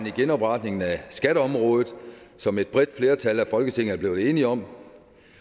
en genopretning af skatteområdet som et bredt flertal i folketinget er blevet enige om